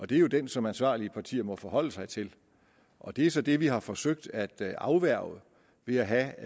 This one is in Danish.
det er jo den som ansvarlige partier må forholde sig til og det er så det vi har forsøgt at afværge ved at have